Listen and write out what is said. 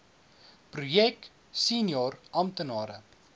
projek senior amptenare